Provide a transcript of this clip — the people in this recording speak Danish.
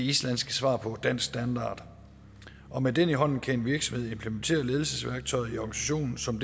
islandske svar på dansk standard og med den i hånden kan en virksomhed implementere ledelsesværktøjet i organisationen som